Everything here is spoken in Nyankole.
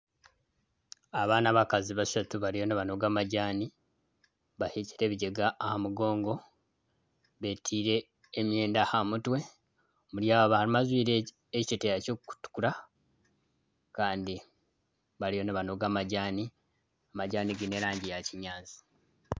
Aba n'abakazi bashatu bariyo nibanoga amajaani bahekire ebigyega aha mugongo betiire emyenda aha mutwe omuri aba harimu ajwaire ekiteteeya ky'okutukura andi bariyo nibanoga amajaani ,amajaani gaine erangi ya kinyaatsi.